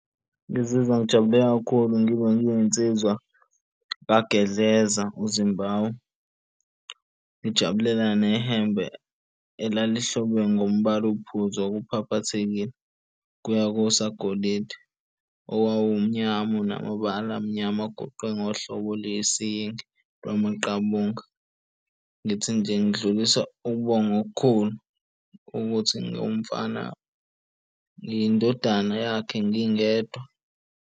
Ngizizwa ngijabule kakhulu ngibe ngiyinsizwa kaGedleza uZimbawu. Ngijabulela nehembe elalihlobe ngombala ophuzi okuphaphathekile kuya kosagolide owawu mnyama, unama bala amnyama agoqwe ngohlobo olusiyingi lwa maqabunga. Ngithi nje ngidlulisa ukubonga okukhulu ukuthi ngiwumfana, ngiyindodana yakhe ngingedwa.